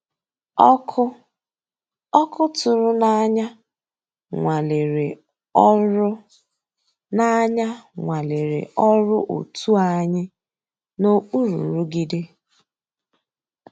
Ọ́kụ́ ọ́kụ́ tụ̀rụ̀ n'ànyá nwàlérè ọ́rụ́ n'ànyá nwàlérè ọ́rụ́ ótú ànyị́ n'òkpùrú nrụ̀gídé.